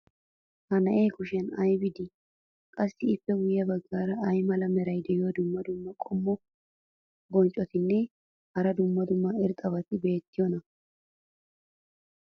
ha na'ee kushiyan aybi de'ii? qassi ippe guye bagaara ay mala meray diyo dumma dumma qommo bonccotinne hara dumma dumma irxxabati beetiyoonaa?